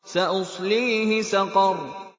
سَأُصْلِيهِ سَقَرَ